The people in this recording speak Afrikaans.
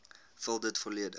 vul dit volledig